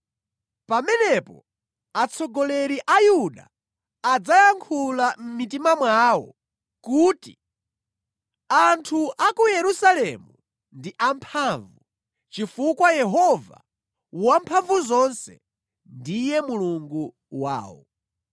Pamenepo atsogoleri a Yuda adzayankhula mʼmitima mwawo kuti, ‘Anthu a ku Yerusalemu ndi amphamvu, chifukwa Yehova Wamphamvuzonse ndiye Mulungu wawo.’